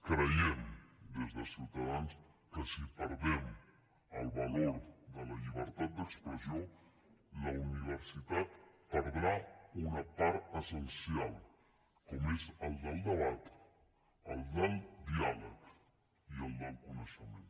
creiem des de ciutadans que si perdem el valor de la llibertat d’expressió la universitat perdrà una part essencial com és la del debat la del diàleg i la del coneixement